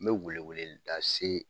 N bɛ weleweleda se